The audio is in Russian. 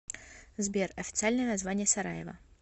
сбер официальное название сараево